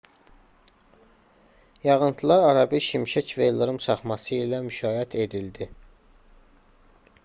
yağıntılar arabir şimşək və ildırım çaxması ilə müşayiət edildi